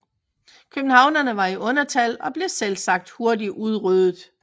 Københavnerne var i undertal og blev selvsagt hurtigt udryddet